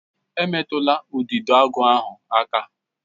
Emetụla Udidoagu ahụ aka?